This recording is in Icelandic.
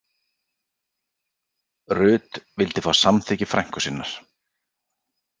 Rut vildi fá samþykki frænku sinnar